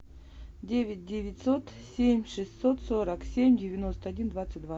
девять девятьсот семь шестьсот сорок семь девяносто один двадцать два